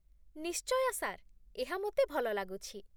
ନିଶ୍ଚୟ, ସାର୍ ଏହା ମୋତେ ଭଲ ଲାଗୁଛି